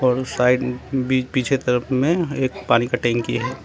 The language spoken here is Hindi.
और साइड बी पीछे तरफ में एक पानी का टंकी हे।